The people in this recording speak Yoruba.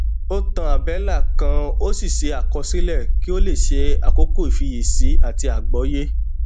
ó tan àbélà kan ó sì ṣe àkọsílẹ kí ó lè ṣe akókò ìfiyèsí àti àgbọyé